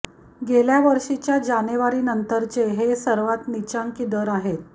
गेल्या वर्षीच्या जानेवारीनंतरचे हे सर्वात नीचांकी दर आहेत